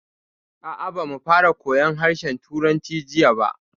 A'a, ba mu fara koyan harshen Turanci jiya ba